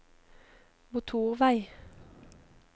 motorvei